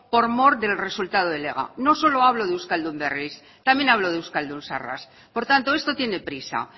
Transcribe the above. por mor del resultado del ega no solo hablo de euskaldun berris también hablo de euskaldun zaharras por tanto esto tiene prisa